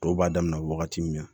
Dɔw b'a daminɛ wagati min na